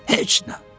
Heç nə.